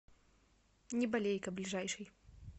неболейка ближайший